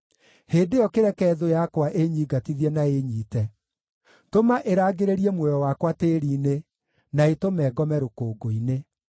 hĩndĩ ĩyo kĩreke thũ yakwa ĩnyiingatithie na ĩĩnyiite; tũma ĩrangĩrĩrie muoyo wakwa tĩĩri-inĩ, na ĩtũme ngome rũkũngũ-inĩ.